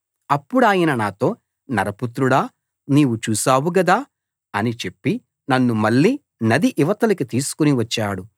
అప్పుడాయన నాతో నరపుత్రుడా నీవు చూశావు గదా అని చెప్పి నన్ను మళ్ళీ నది ఇవతలికి తీసుకుని వచ్చాడు